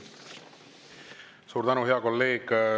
Suur tänu, hea kolleeg!